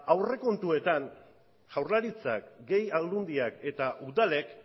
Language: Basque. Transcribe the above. ba aurrekontuetan jaurlaritzak gehi aldundiak eta udalek